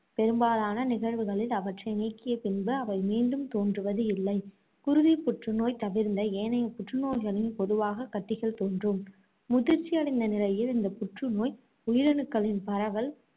பெரும்பாலான நிகழ்வுகளில் அவற்றை நீக்கிய பின்பு அவை மீண்டும் தோன்றுவது இல்லை. குருதி புற்று நோய் தவிர்ந்த ஏனைய புற்று நோய்களில் பொதுவாக கட்டிகள் தோன்றும். முதிர்ச்சி அடைந்த நிலையில் இந்த புற்று நோய் உயிரணுக்களின் பரவல்